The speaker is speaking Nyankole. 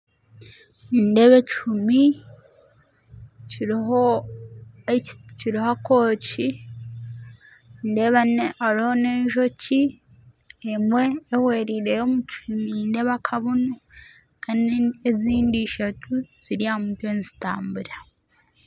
Nindeeba ekihuumi kiriho ekiti kariho obwooki hariho n'enjoki emwe ehwerireyo omu kihuumi nindeeba akabunu kandi ezindi ishatu ziri aha mutwe nizitambura.